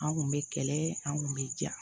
An kun bɛ kɛlɛ an kun bɛ ja